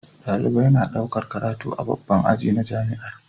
Dalibai na ɗaukar karatu a babban aji na jamiar